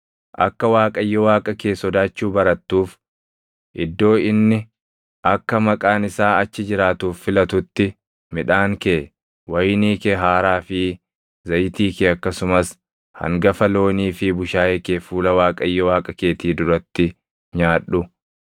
Akka Waaqayyo Waaqa kee sodaachuu barattuuf iddoo inni akka Maqaan isaa achi jiraatuuf filatutti midhaan kee, wayinii kee haaraa fi zayitii kee akkasumas hangafa loonii fi bushaayee kee fuula Waaqayyo Waaqa keetii duratti nyaadhu.